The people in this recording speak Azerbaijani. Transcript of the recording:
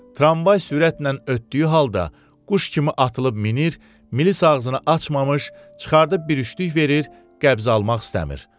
Tramvay sürətlə ötdüyü halda quş kimi atılıb minir, milis ağzını açmamış çıxarıb bir üştülük verir, qəbz almaq istəmir.